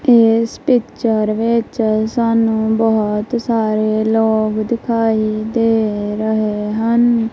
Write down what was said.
ਏਸ ਪਿੱਚਰ ਵਿੱਚ ਸਾਨੂੰ ਬਹੁਤ ਸਾਰੇ ਲੋਗ ਦਿਖਾਈ ਦੇ ਰਹੇ ਹਨ।